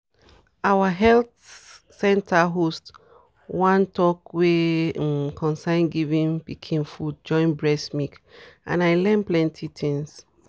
our health center host one talk wey um concern giving pikin food join breast milk and i learn plenty things.